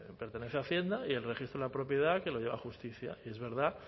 pertenece a hacienda y el registro de la propiedad que lo lleva justicia y es verdad